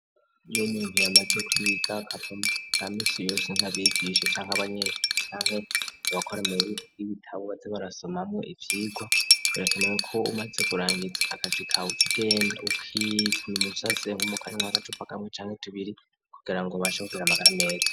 Iyo 'umuntu yamaze kwiga akava mukazi ka minsi yose nkabigishe canke banyenvi canke abakore mu biri vy'ibitabo baze barasoma mo ivyigwa urekanewe ko umaze kurangiza akazi ka ucugenda ukipfuna umusase nku mukanyanwa agacupa kamwe chanke tubiri kugera ngo bashobore kugire magara meza.